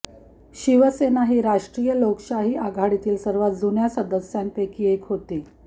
शिवसेना ही राष्ट्रीय लोकशाही आघाडीतील सर्वात जुन्या सदस्यांपैकी एक होती